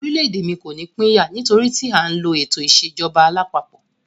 Orílẹ̀-èdè mí kò ní pín yà, nítorí tí a ń lo ètò ìṣèjọba alápapọ̀.